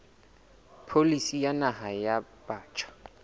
pholisi ya naha ya batjha